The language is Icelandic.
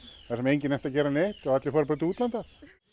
þegar enginn nennti að gera neitt og allir fóru til útlanda